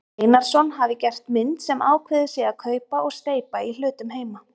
Einarsson hafi gert mynd sem ákveðið sé að kaupa og steypa í hlutum heima.